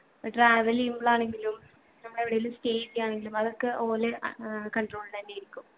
ഏർ travel എയ്യുമ്പോളാണെങ്കിലും നമ്മളെവിടെലും stay എയ്യാണെങ്കിലും അതൊക്കെ ഓലെ അഹ് ഏർ control ൽ എന്നെ ആയിരിക്കും